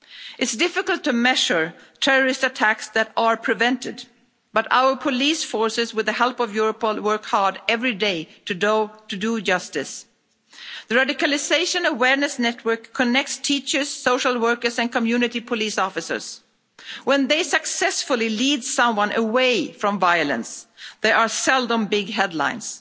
It's difficult to measure terrorist attacks that are prevented, but our police forces, with the help of Europol, work hard every day to do justice. The Radicalisation Awareness Network connects teachers, social workers and community police officers. When they successfully lead someone away from violence, there are seldom big headlines,